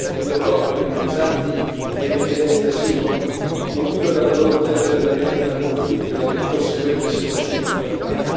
in Europa i rifugiati e i richiedenti asilo in fuga dalle loro terre dilaniate da conflitti e dalle conseguenti situazioni di povertà.